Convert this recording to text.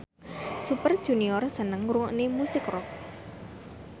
Super Junior seneng ngrungokne musik rock